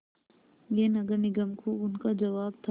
यह नगर निगम को उनका जवाब था